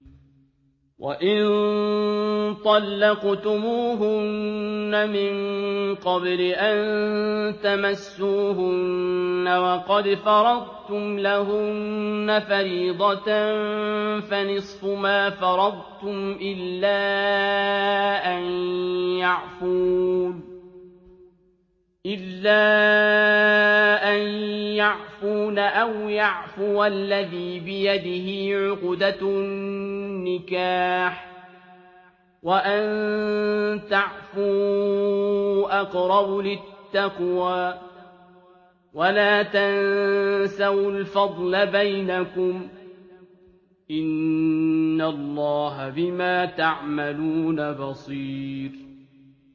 وَإِن طَلَّقْتُمُوهُنَّ مِن قَبْلِ أَن تَمَسُّوهُنَّ وَقَدْ فَرَضْتُمْ لَهُنَّ فَرِيضَةً فَنِصْفُ مَا فَرَضْتُمْ إِلَّا أَن يَعْفُونَ أَوْ يَعْفُوَ الَّذِي بِيَدِهِ عُقْدَةُ النِّكَاحِ ۚ وَأَن تَعْفُوا أَقْرَبُ لِلتَّقْوَىٰ ۚ وَلَا تَنسَوُا الْفَضْلَ بَيْنَكُمْ ۚ إِنَّ اللَّهَ بِمَا تَعْمَلُونَ بَصِيرٌ